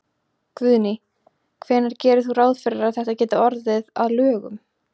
Guðný: Hvenær gerir þú ráð fyrir að þetta geti orðið að lögum?